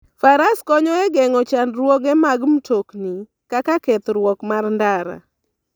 Faras konyo e geng'o chandruoge mag mtokni kaka kethruok mar ndara.